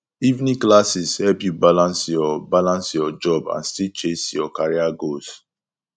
evening classes help you balance your balance your job and still chase your career goals